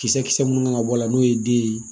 Kisɛ kisɛ minnu kan ka bɔ a la n'o ye den ye